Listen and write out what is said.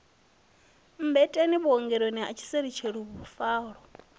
mmbeteni vhuongeloni ha tshiseluselu fuvhalo